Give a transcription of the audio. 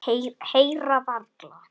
Heyra varla.